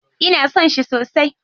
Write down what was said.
Ina son shi sosai.